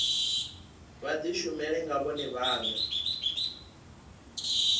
vha dishumele nga vhone vhane